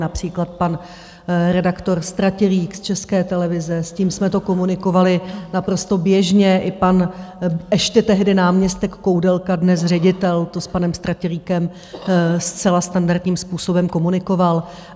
Například pan redaktor Stratilík z České televize, s ním jsme to komunikovali naprosto běžně, i pan ještě tehdy náměstek Koudelka, dnes ředitel, to s panem Stratilíkem zcela standardním způsobem komunikoval.